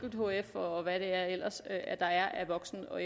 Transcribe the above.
hf og hvad der ellers er af voksen og